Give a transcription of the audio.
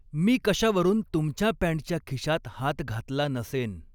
मी कशावरून तुमच्या पॅंटच्या खिशात हात घातला नसेन